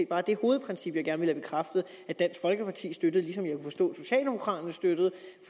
bare det hovedprincip jeg gerne vil have bekræftet at dansk folkeparti støtter ligesom jeg kan forstå